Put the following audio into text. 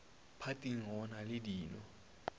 phathing go na le dino